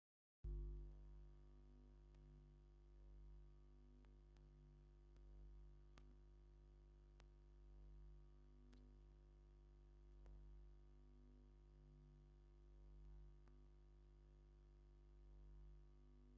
እዚ ብልቃጥ ናይ ኣዋስዳ ቅብኣት እዩ፡፡ እዚ ቅብኣት ብመድሓኒትነት ኣብ ግልጋሎት ይውዕል ዘሎ እዩ፡፡ እዚ ነገር ብሰብ ሞያ ሕክምንና ዝእዘዝ ኣይመስለንን፡፡